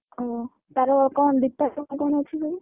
ଓହୋ, ତାର କଣ details କଣ ଅଛି କହନି,